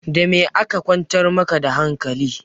Da me aka kwantar ma ka da hankali?